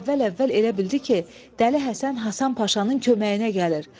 O əvvəl-əvvəl elə bildi ki, Dəli Həsən Hasan Paşanın köməyinə gəlir.